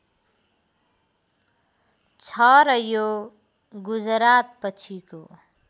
छ र यो गुजरातपछिको